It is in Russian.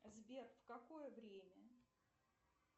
сбер в какое время